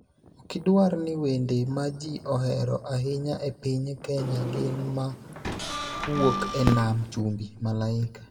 Okidwar ni wende ma ji ohero ahinya e piny Kenya gin ma wuok e nam chumbi: Malaika,